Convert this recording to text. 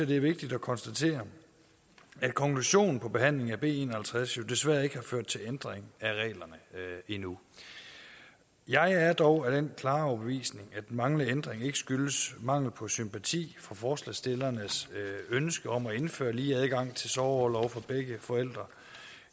det er vigtigt at konstatere at konklusionen på behandlingen af b en og halvtreds desværre ikke har ført til ændring af reglerne endnu jeg er dog af den klare overbevisning at den manglende ændring ikke skyldes mangel på sympati for forslagsstillernes ønske om at indføre lige adgang til sorgorlov for begge forældre